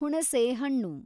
ಹುಣುಸೆಹಣ್ಣು